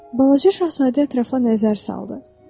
Balaca Şahzadə ətrafa nəzər saldı.